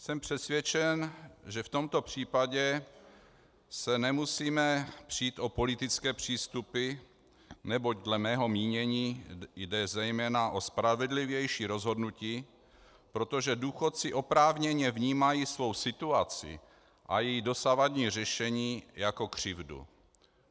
Jsem přesvědčen, že v tomto případě se nemusíme přít o politické přístupy, neboť dle mého mínění jde zejména o spravedlivější rozhodnutí, protože důchodci oprávněně vnímají svou situaci a její dosavadní řešení jako křivdu.